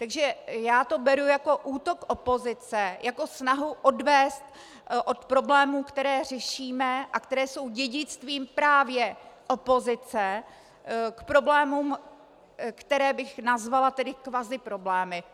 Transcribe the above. Takže já to beru jako útok opozice, jako snahu odvést od problémů, které řešíme a které jsou dědictvím právě opozice, k problémům, které bych nazvala tedy kvaziproblémy.